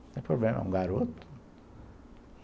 Não tem problema, um garoto.